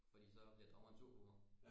Fordi så bliver dommere sur på mig